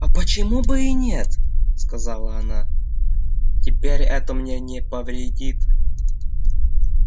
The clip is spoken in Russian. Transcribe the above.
а почему бы и нет сказала она теперь это мне не повредит